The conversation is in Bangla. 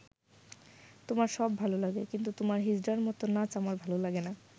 তোমার সব ভালো লাগে, কিন্তু তোমার হিজড়ার মতো নাচ আমার ভালো লাগে না'।